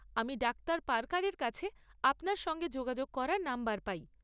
আমি doctor Parker এর কাছে আপনার সঙ্গে যোগাযোগ করার নম্বর পাই।